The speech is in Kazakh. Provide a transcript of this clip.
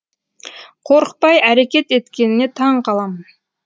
қорықпай әрекет еткеніне таң қаламын